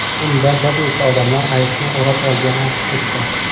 Unda bir necha odamlar ayiqni o‘rab olgani aks etgan.